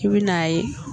I bi n'a ye